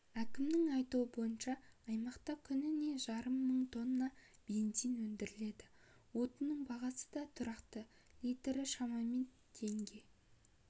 әкімнің айтуынша аймақта күніне жарым мың тонна бензин өндіріледі отынның бағасы да тұрақты литрі шамамен теңге